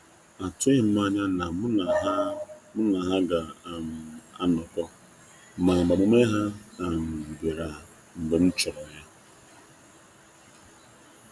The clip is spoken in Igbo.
Atụghị m anya na mụ na ha mụ na ha ga um anọkọ, ma agbamume ha um bịara mgbe m chọrọ ya.